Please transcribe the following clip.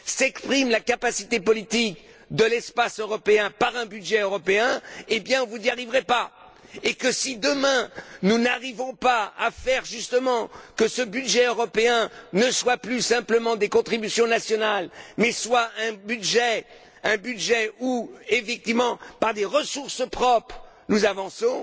exprime la capacité politique de l'espace européen par un budget européen, vous n'y arriverez pas! Nous n'y arriverons pas si demain, nous ne réussissons pas à faire, justement, que ce budget européen ne soit plus simplement des contributions nationales mais soit un budget où, effectivement, par des ressources propres, nous avançons.